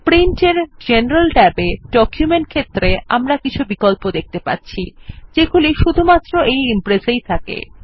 Print এর general ট্যাবে document ক্ষেত্রে আমরা কিছু বিকল্প দেখতে পাচ্ছি যেগুলি শুধুমাত্র Impress এই থাকে